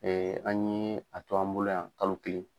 Ee an ɲe a to an bolo yan kalo kelen.